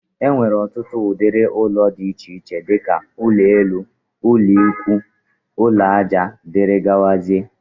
Enwere ọtụtụ ụdịrị ụlọ dị iche iche dika: ụlọ ala, ụlọ ikwúú, ụlọ aja wdg.